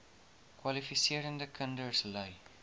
kwalifiserende kinders ly